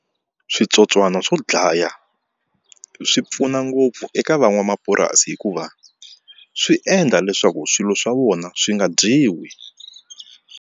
Switsotswana swo dlaya swi pfuna ngopfu eka van'wamapurasi hikuva swi endla leswaku swilo swa vona swi nga dyiwi.